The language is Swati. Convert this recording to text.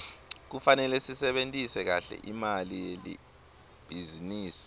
kufanele sisebentise kahle imali yelibhizinisi